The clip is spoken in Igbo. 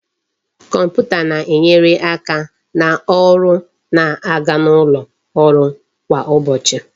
Kọmputa na-enyere aka na ọrụ na-aga n'ụlọ ọrụ kwa ụbọchị